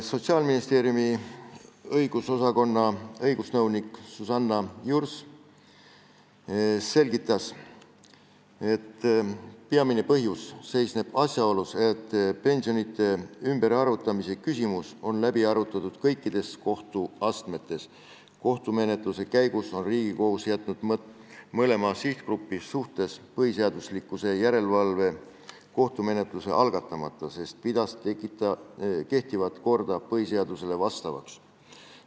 Sotsiaalministeeriumi õigusosakonna õigusnõunik Susanna Jurs selgitas valitsuse arvamusest rääkides, et pensionide ümberarvutamise küsimus on läbi arutatud kõikides kohtuastmetes ning kohtumenetluse käigus on Riigikohus jätnud mõlema sihtgrupi suhtes põhiseaduslikkuse järelevalve kohtumenetluse algatamata, sest on pidanud kehtivat korda põhiseadusele vastavaks.